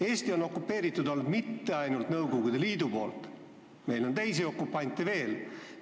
Eestit pole okupeerinud mitte ainult Nõukogude Liit, meil on teisi okupante veel.